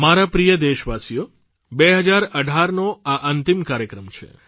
મારા પ્રિય દેશવાસીઓ 2018નો આ અંતિમ કાર્યક્રમ છે